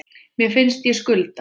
Mér finnst ég skulda